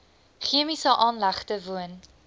chemiese aanlegte woon